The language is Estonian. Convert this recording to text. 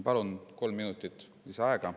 Palun kolm minutit lisaaega.